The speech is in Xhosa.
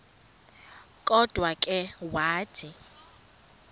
kodwa ke wathi